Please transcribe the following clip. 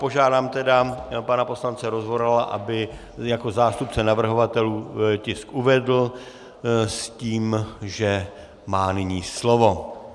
Požádám tedy pana poslance Rozvorala, aby jako zástupce navrhovatelů tisk uvedl, s tím, že má nyní slovo.